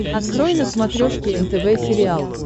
открой на смотрешке нтв сериал